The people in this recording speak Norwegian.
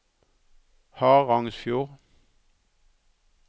Harangsfjord